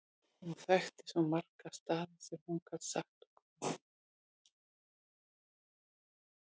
Hún þekkti svo marga staði sem hún gat sagt okkur frá.